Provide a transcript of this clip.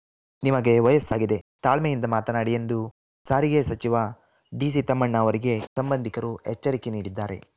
ನಿಮಗೆ ವಯಸ್ಸಾಗಿದೆ ತಾಳ್ಮೆಯಿಂದ ಮಾತನಾಡಿ ಎಂದು ಸಾರಿಗೆ ಸಚಿವ ಡಿಸಿ ತಮ್ಮಣ್ಣ ಅವರಿಗೆ ಸಂಬಂಧಿಕರು ಎಚ್ಚರಿಕೆ ನೀಡಿದ್ದಾರೆ